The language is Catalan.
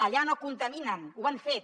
allà no contaminen ho han fet